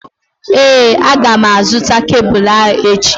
Ee, a gá m a zụta kebụlụ ahụ echi